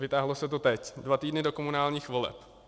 Vytáhlo se to teď, dva týdny do komunálních voleb.